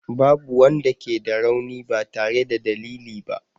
Babu wanda ke da rauni ba tare da dalili ba.